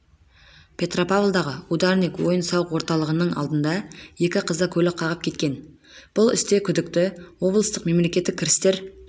петропавлдағы ударник ойын-сауық орталығының алдында екі қызды көлік қағып кеткен бұл істе күдікті облыстық мемлекеттік кірістер